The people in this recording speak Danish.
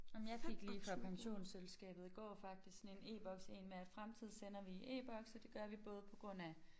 Ej men jeg fik lige fra pensionsselskabet i går faktisk sådan en e-boks en med at fremtid sender vi i e-boks og det gør vi både på grund af